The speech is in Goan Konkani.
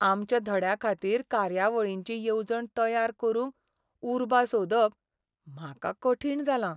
आमच्या धड्याखातीर कार्यावळींची येवजण तयार करूंक उर्बा सोदप म्हाका कठीण जालां.